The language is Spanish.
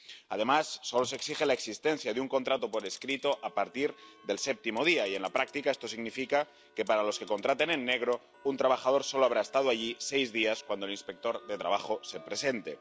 Además, solo se exige la existencia de un contrato por escrito a partir del séptimo día, y en la práctica esto significa que, para los que contraten en negro, un trabajador solo habrá estado allí seis días cuando el inspector de trabajo se presente.